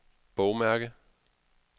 bogmærke